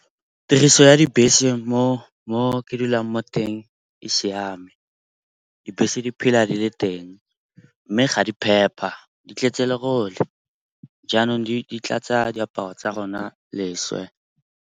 Tiriso ya dibese mo ke dulang mo teng e siame. Dibese di phela di le teng mme ga di phepa, di tletse lerole. Jaanong di tlatsa diaparo tsa rona leswe.